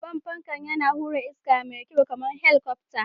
Babban fanka, yana hura iska mai kyau kamar helikwafta